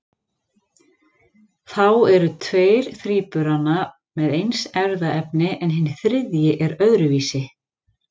Þá eru tveir þríburana með eins erfðaefni en hinn þriðji er öðruvísi.